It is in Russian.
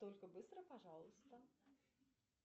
только быстро пожалуйста